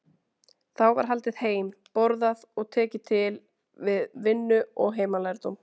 Þá var haldið heim, borðað og tekið til við vinnu og heimalærdóm.